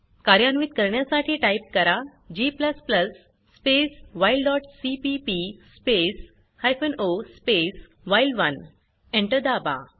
कार्यान्वित करण्यासाठी टाइप करा g space while dot CPP space hyphen O space व्हाईल1 Enter दाबा